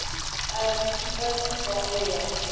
a le tipatipa ho ya